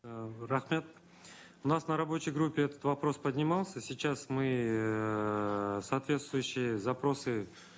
ыыы рахмет у нас на рабочей группе этот вопрос поднимался сейчас мы эээ соответствующие запросы